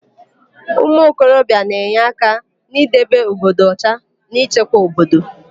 Ụmụokorobia na-enye aka n'idebe obodo ọcha na ịchekwa obodo.